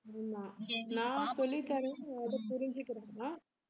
ஆமா நான் சொல்லித்தரதை அதை புரிஞ்சிக்கிறான்